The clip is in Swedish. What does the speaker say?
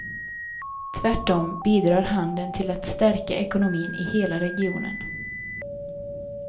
Tvärtom bidrar handeln till att stärka ekonomin i hela regionen.